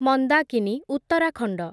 Mandakini, Uttarakhand